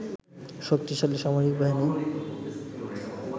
শক্তিশালী সামরিক বাহিনী